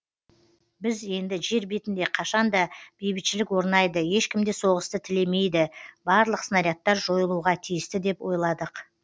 біз енді жер бетінде қашанда бейбітшілік орнайды ешкім де соғысты тілемейді барлық снарядтар жойылуға тиісті деп ойладық